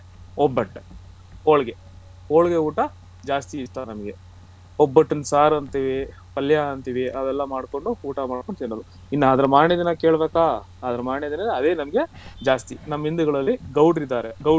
ಒಬ್ಬಟ್ಟು ಹೋಳಿಗೆ ಹೋಳಿಗೆ ಊಟ ಜಾಸ್ತಿ ಇಷ್ಟ ನಮ್ಗೆ ಒಬ್ಬಟ್ಟಿನ್ ಸಾರು ಅಂತಿವಿ ಪಲ್ಯ ಅಂತಿವಿ ಅವೆಲ್ಲ ಮಾಡ್ಕೊಂಡು ಊಟಮಾಡ್ಕೊಂಡು ತಿನ್ನೋದು ಇನ್ನ ಅದರ ಮಾರನೇ ದಿನ ಕೆಳ್ಬೇಕಾ ನಮ್ಮಗೆ ಅದೇ ನಮ್ಗೆ ಜಾಸ್ತಿ ನಮ್ಮ ಹಿಂದುಗಳಲ್ಲಿ ಗೌಡ್ರಿದ್ದಾರೆ ಗೌಡ್ರು